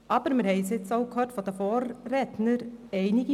Aber wir haben es nun auch von den Vorrednern gehört: